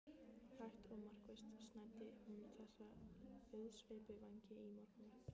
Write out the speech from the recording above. Hægt og markvisst snæddi hún þessa auðsveipu vængi í morgunverð.